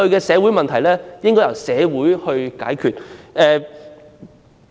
社會問題應該由社會解決。